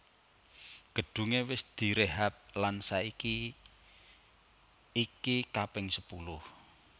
Gedunge wis direhab lan saiki iki kaping sepuluh